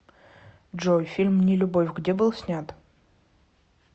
джой фильм не любовь где был снят